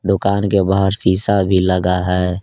दुकान के बाहर शिशा भी लगा है।